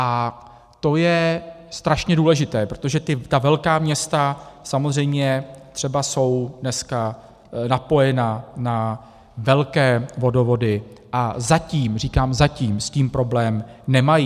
A to je strašně důležité, protože ta velká města samozřejmě třeba jsou dneska napojena na velké vodovody a zatím, říkám zatím, s tím problém nemají.